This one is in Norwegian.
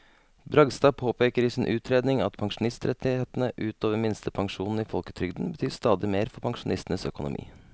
Bragstad påpeker i sin utredning at pensjonsrettighetene ut over minstepensjonen i folketrygden betyr stadig mer for pensjonistenes økonomi.